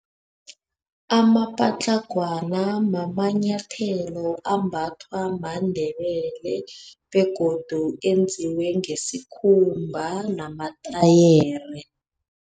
Amapatlagwana mamanyathelo, ambathwa maNdebele, begodu eyenziwe ngesikhumba namatayere.